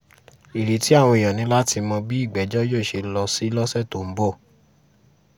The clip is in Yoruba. ìrètí àwọn èèyàn ni láti mọ bí ìgbẹ́jọ́ yóò ṣe lọ sí lọ́sẹ̀ tó ń bọ̀